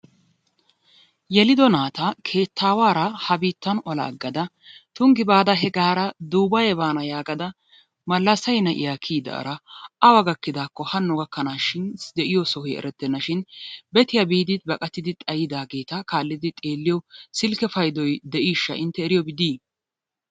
Yelido naata keettawaara ha biittan ola aggada Tunggi baada hegaara Dubbaye baana yagaada Ballasee na'iyaa kiyyidaara awa gakkidaako hano gakknashin de'iyo sohoy erettenashin bettiyaa biidi baaqattidi xayyidaageeta kaallidi xeelliyo silkke payddoy de'ishsha intte eriyoobi dii?